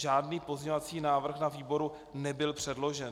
Žádný pozměňovací návrh na výbor nebyl předložen.